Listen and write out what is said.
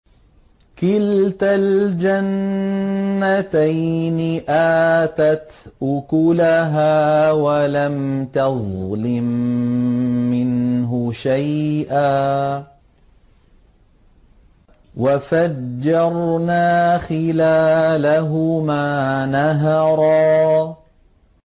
كِلْتَا الْجَنَّتَيْنِ آتَتْ أُكُلَهَا وَلَمْ تَظْلِم مِّنْهُ شَيْئًا ۚ وَفَجَّرْنَا خِلَالَهُمَا نَهَرًا